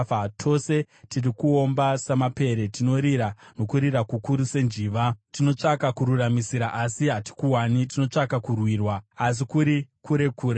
Tose tiri kuomba samapere; tinorira nokurira kukuru senjiva. Tinotsvaka kururamisira, asi hatikuwani; tinotsvaka kurwirwa, asi kuri kure kure.